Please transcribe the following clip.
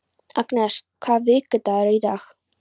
Agnes, hvaða vikudagur er í dag?